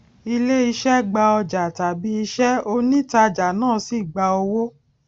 ilé iṣè gba ọjà tabi iṣé ontajà náà sì gba owó